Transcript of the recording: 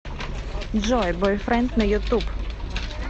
джой бойфренд на ютуб